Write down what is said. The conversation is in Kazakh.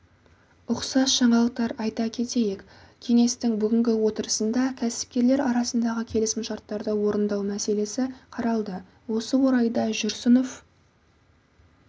ұқсас жаңалықтар айта кетейік кеңестің бүгінгі отырысында кәсіпкерлер арасындағы келісімшарттарды орындау мәселесі қаралды осы орайда жүрсінов